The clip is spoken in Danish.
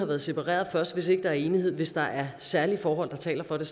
været separeret først ikke er enighed hvis der er særlige forhold der taler for det